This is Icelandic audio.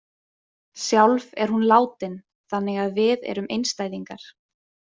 Sjálf er hún látin þannig að við erum einstæðingar.